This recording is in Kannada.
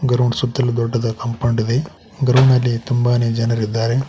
ಗ್ರೌಂಡ್ ಸುತ್ತಲೂ ದೊಡ್ಡದ ಕಾಂಪೌಂಡ್ ಇದೆ ಗ್ರೌಂಡ್ ನಲ್ಲಿ ತುಂಬಾನೇ ಜನರಿದ್ದಾರೆ.